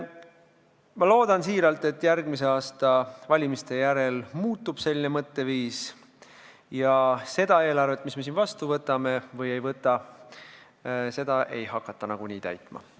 Ma loodan südamest, et järgmise aasta valimiste järel selline mõtteviis muutub ja et seda eelarvet, mis me siin kas vastu võtame või ei võta, ei hakata nagunii täitma.